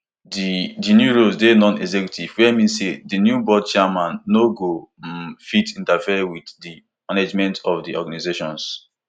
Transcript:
di di roles dey nonexecutive wey mean say di new board chairmen no go um fit interfere wit di management of di organisations